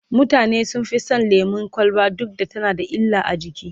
mutane sun Fi San lemun kwalba duk da tana da illa a jiki